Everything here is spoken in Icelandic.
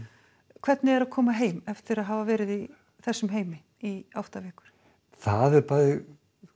hvernig er að koma heim eftir að hafa verið í þessum heimi í átta vikur það er bæði